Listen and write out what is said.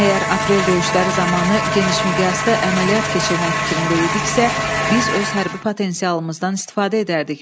Əgər Aprel döyüşləri zamanı genişmiqyaslı əməliyyat keçirmək fikrində idiksə, biz öz hərbi potensialımızdan istifadə edərdik.